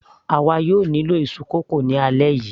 àwa yóò nílò iṣu kókò ni alẹ́ yìí